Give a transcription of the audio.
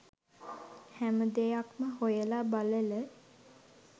හැමදෙයක්ම හොයලා බලල